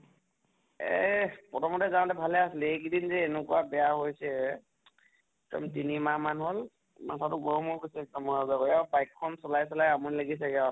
এহ প্ৰথমতে যাওঁতে ভালে আছিলে, এইকেইদিন যে এনেকুৱা বেয়া হৈছে, এক্দম তিনি মাহ মান হʼল মাথা তো গৰম হৈ গৈছে একদম, অহা যোৱা কৰি আৰু bike খন চলাই চলাই আমনি লাগিছে গে আৰু ।